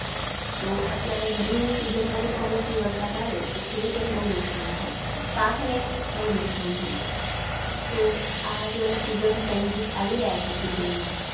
તો અત્યારે ગરમીની Season માં જો કમોસમી વરસાદ આવે તો ખેડૂતોને બઉ નુકશાન થાય, પાકને બઉ નુકસાન થાય, તો આ જે બધા SeasonChanges આવી રહ્યા છે Season ના